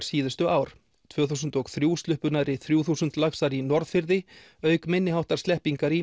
síðustu ár tvö þúsund og þrjú sluppu nærri þrjú þúsund laxar í Norðfirði auk minniháttar sleppingar í